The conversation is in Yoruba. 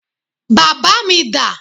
Bàbá mi dà?